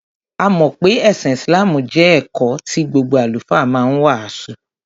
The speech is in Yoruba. A mọ̀ pé ẹ̀sìn Islam jẹ́ ẹ̀kọ́ tí gbogbo Àlùfáà ma ń wàásù.